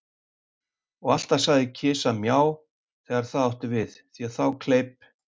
Og alltaf sagði kisa Mjá, þegar það átti við, því að þá kleip